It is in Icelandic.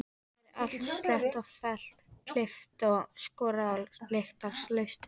Gerði allt slétt og fellt, klippt og skorið og lyktarlaust.